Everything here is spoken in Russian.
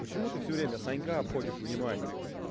почему ты всё время санька обходишь вниманием